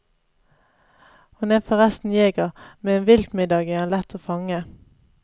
Hun er forresten jeger, med en viltmiddag er han lett å fange.